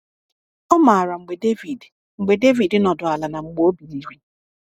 Ọ maara mgbe David mgbe David nọdụ ala na mgbe o biliri.